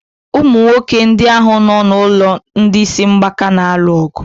Ụmụ nwoke ndị ahụ nọ n'ụlọ ndị isi mgbaka na-alu ọgụ.